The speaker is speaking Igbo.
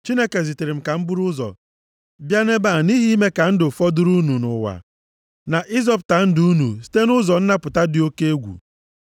Chineke zitere m ka m buru ụzọ bịa nʼebe a nʼihi ime ka ndụ fọdụrụ unu nʼụwa, na ịzọpụta ndụ unu site nʼụzọ nnapụta dị oke egwu.